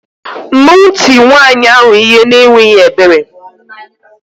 Mmanwu tie nwayi ahu ihe n' enweghi ebere